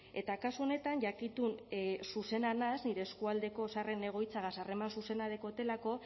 eta kasu honetan jakitun zuzena naiz nire eskualdeko zaharren egoitzagaz harreman zuzena daukadalako